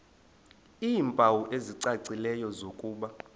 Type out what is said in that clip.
iimpawu ezicacileyo zokuba